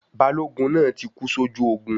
Balógun náà tí kú sójú ogun